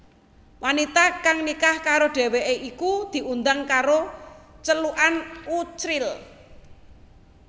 Wanita kang nikah karo dheweké iku diundhang karo celukan Uchril